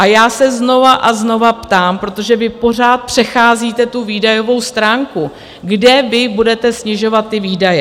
A já se znovu a znovu ptám, protože vy pořád přecházíte tu výdajovou stránku, kde vy budete snižovat ty výdaje?